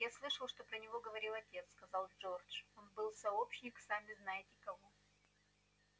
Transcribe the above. я слышал что про него говорил отец сказал джордж он был сообщник сами-знаете-кого